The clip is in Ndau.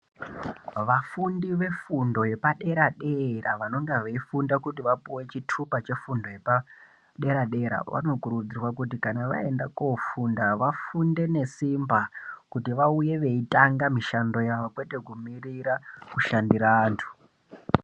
Vafundi vefundo yepaderadera, vanonga veyifunda kuti vapuwe chitupa chefundo yepaderadera, vanokurudzirwa kuti kana vayenda kofunda, vafunde nesimba kuti vauye veyitanga mishando yavo kwete kumirira kushandira antu.